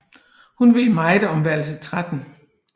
Hun ved meget om værelse 13